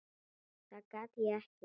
Það get ég ekki.